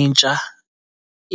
intsha